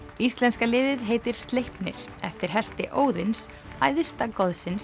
íslenska liðið heitir Sleipnir eftir hesti Óðins æðsta